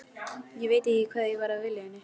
Ég veit ekki hvað ég var að vilja henni.